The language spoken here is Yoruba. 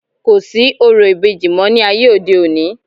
kò sí orò ìbejì mọ́ ní ayé òde òni